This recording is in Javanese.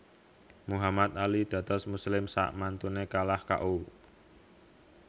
Muhammad Ali dados muslim sakmantune kalah K O